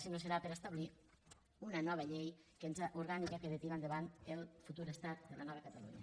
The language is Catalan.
sinó que serà per a establir una nova llei orgànica que ha de tirar endavant el futur estat de la nova catalunya